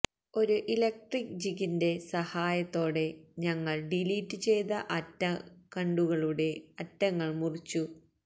ഒരു ഇലക്ട്രിക് ജിഗിന്റെ സഹായത്തോടെ ഞങ്ങൾ ഡിലീറ്റ് ചെയ്ത അറ്റകണ്ടുകളുടെ അറ്റങ്ങൾ മുറിച്ചു